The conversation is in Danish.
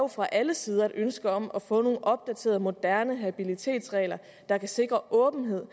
fra alle sider er et ønske om at få nogle opdaterede moderne habilitetsregler der kan sikre åbenhed